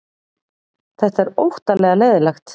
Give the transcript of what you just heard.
Þetta er óttalega leiðinlegt